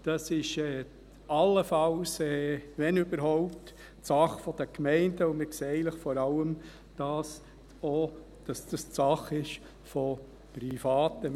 Dies ist allenfalls, wenn überhaupt, Sache der Gemeinden, und wir sehen eigentlich vor allem auch, dass dies Sache von Privaten ist.